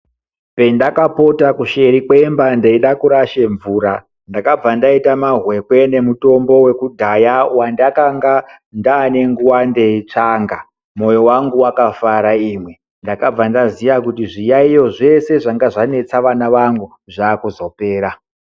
Pendakapota kusheri kwemba ndeide kurasha mvura ndakabva ndaita mahwekwe nemutombo wekudhaya wandaka nga ndane nguwa ndechitsvaga moyo wangu wakafara imi ndakabva ndaziya kuti zviyayiyo zveshe zvanga zvanetsa vana vangu zvakuzopera.